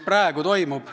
Palun lisaaega!